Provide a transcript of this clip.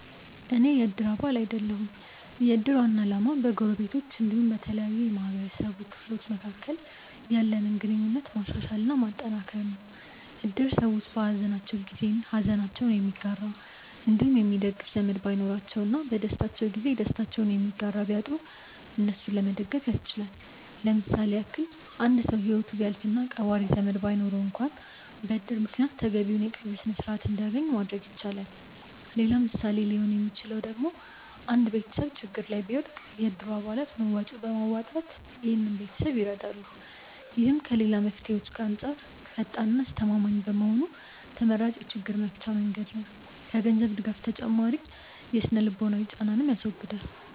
አኔ የ እድር አባል አይደለሁም። የ እድር ዋና አላማ በ ጎረቤቶች አንዲሁም በተለያዩ የ ማህበረሰቡ ክፍሎች መካከል ያለንን ግንኙነት ማሻሻል እና ማጠንከር ነው። እድር ሰዎች በ ሃዘናቸው ጊዜ ሃዘናቸውን የሚጋራ አንዲሁም የሚደግፍ ዘመድ ባይኖራቸው እና በ ደስታቸው ጊዜ ደስታቸውን የሚጋራ ቢያጡ እነሱን ለመደገፍ ያስችላል። ለምሳሌ ያክል አንድ ሰው ሂወቱ ቢያልፍ እና ቀባሪ ዘመድ ባይኖረው አንክዋን በ እድር ምክንያት ተገቢውን የ ቀብር ስርዓት አንድያገኝ ማድረግ ይቻላል። ሌላ ምሳሌ ሊሆን ሚችለው ደግሞ አንድ ቤተሰብ ችግር ላይ ቢወድቅ የ እድሩ አባላት መዋጮ በማዋጣት ይህን ቤተሰብ ይረዳሉ። ይህም ከ ሌላ መፍትሄዎች አንጻር ፈጣን እና አስተማማኝ በመሆኑ ተመራጭ የ ችግር መፍቻ መንገድ ነው። ከ ገንዘብ ድጋፍ ተጨማሪ የ ስነ-ልቦናዊ ጫናንንም ያስወግዳል።